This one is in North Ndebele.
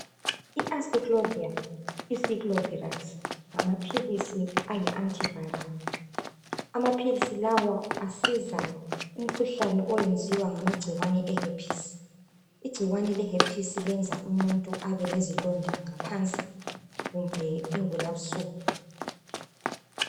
I Aciclovir Xyclovirax ngamaphilisi ayi antiviral amaphilisi lawa asiza umkhuhlane oyenziwa ngamagcikwane e herpes igcikwane le herpes lenza umuntu abe lezilonda ngaphansi kumbe ingulabusuku.